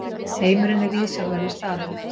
Heimurinn er viðsjárverður staður.